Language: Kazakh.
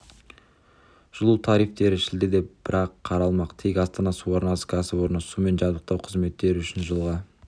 жылу тарифтері шілдеде бірақ қаралмақ тек астана су арнасы кәсіпорны сумен жабдықтау қызметтері үшін жылға